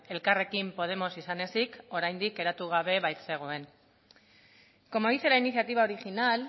elkarrekin podemos izan ezik oraindik eratu gabe baitzegoen como dice la iniciativa original